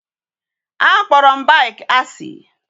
A kporo m bike asi